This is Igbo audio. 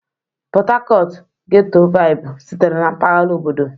Port Harcourt ghẹ́tọ́ váịbụ sitere na mpaghara obodo.